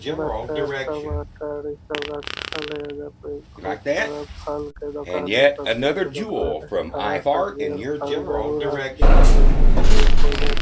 मटर टमाटर इ सब रखल है एजा पे बहुत सारा फल के दोकान ओर सब्जी के दोकान है हरा सब्जी और फल जरूर आदमी क लेना चाहि भोजन --